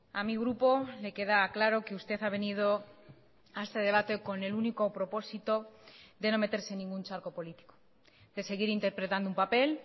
a mi grupo le queda claro que usted ha venido a este debate con el único propósito de no meterse en ningún charco político de seguir interpretando un papel